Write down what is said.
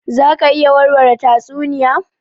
Za ka iya warware tatsuniya?